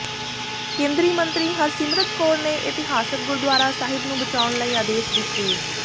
ਕੇਂਦਰੀ ਮੰਤਰੀ ਹਰਸਿਮਰਤ ਕੌਰ ਨੇ ਇਤਿਹਾਸਕ ਗੁਰਦੁਆਰਾ ਸਾਹਿਬ ਨੂੰ ਬਚਾਉਣ ਲਈ ਆਦੇਸ਼ ਦਿੱਤੇ